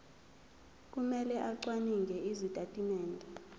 kumele acwaninge izitatimende